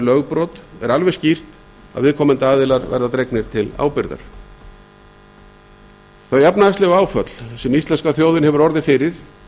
lögbrot er alveg skýrt að viðkomandi aðilar verða dregnir til ábyrgðar þau efnahagslegu áföll sem íslenska þjóðin hefur orðið fyrir